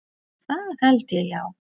Það held ég, já.